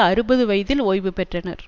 அறுபது வயதில் ஓய்வு பெற்றனர்